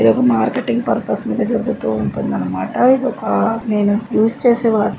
ఇదొక marketing purpose మీద జరుగుతుంటుంది అన్నమాట ఇదొక నేను యూస్ చేసేవాటి.